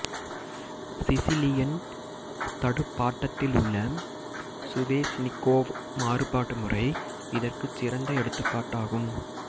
Sicilian தடுப்பாட்டத்திலுள்ள Sveshnikov மாறுபாடு முறை இதற்குச் சிறந்த எடுத்துக்காட்டாகும்